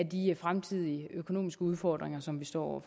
de fremtidige økonomiske udfordringer som vi står over